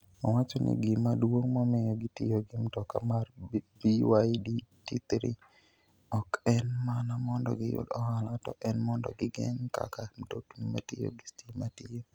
Owacho ni gima duong' momiyo gitiyo gi mtoka mar BYD T3 ok en mana mondo giyud ohala, to en mondo ging'e kaka mtokni matiyo gi stima tiyo.